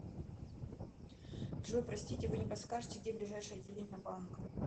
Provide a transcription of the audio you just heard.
джой простите вы не подскажете где ближайшее отделение банка